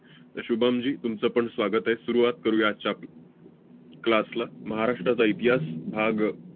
शुभमजी, तुमचं पण स्वागत आहे. सुरुवात करूया आजच्या आप~ class ला. 'महाराष्ट्राचा इतिहास' भाग